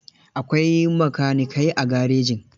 Akwai makanikai a garejin.